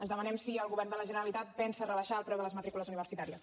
els demanem si el govern de la generalitat pensa rebaixar el preu de les matrícules universitàries